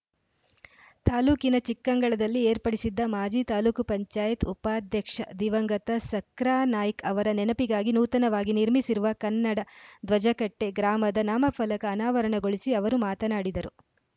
ತಾಲೂಕಿನ ಚಿಕ್ಕಂಗಳದಲ್ಲಿ ಏರ್ಪಡಿಸಿದ್ದ ಮಾಜಿ ತಾಲೂಕ್ ಪಂಚಾಯತ್ ಉಪಾಧ್ಯಕ್ಷ ದಿವಂಗತ ಸಕ್ರಾನಾಯ್ಕ ಅವರ ನೆನಪಿಗಾಗಿ ನೂತನವಾಗಿ ನಿರ್ಮಿಸಿರುವ ಕನ್ನಡ ಧ್ವಜಕಟ್ಟೆ ಗ್ರಾಮದ ನಾಮಫಲಕ ಅನಾವರಣಗೊಳಿಸಿ ಅವರು ಮಾತನಾಡಿದರು